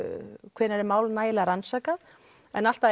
hvenær er mál nægilega rannsakað en allt að